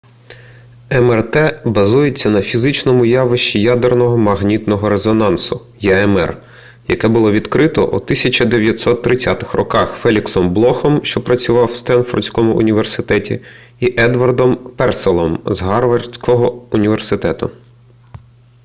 мрт базується на фізичному явищі ядерного магнітного резонансу ямр яке було відкрито у 1930-х роках феліксом блохом що працював в стенфордському університеті і едвардом перселлом з гарвардського університету